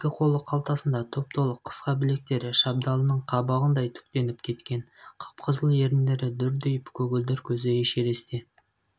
екі қолы қалтасында топ-толық қысқа білектері шабдалының қабығындай түктеніп кеткен қып-қызыл еріндері дүрдиіп көгілдір көзі эшерестке